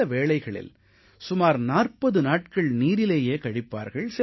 சில வேளைகளில் சுமார் 40 நாட்கள் நீரிலேயே கழிப்பார்கள்